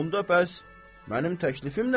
Onda bəs mənim təklifim nədir?